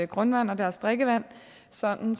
grundvand og deres drikkevand sådan